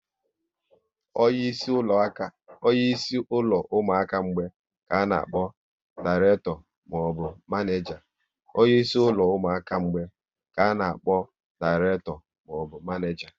Onye isi ụlọ ụmụaka mgbei ka a na akpọ direkto maọbụ manija